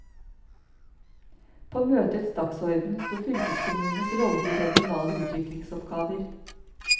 På møtets dagsorden sto fylkeskommunens rolle i regionale utviklingsoppgaver.